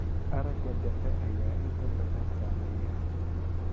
Aragga dhexe ayaa inta badan saameeya.